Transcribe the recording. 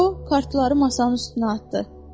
O, kartları masanın üstünə atdı.